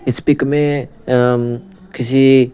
इस पिक में किसी--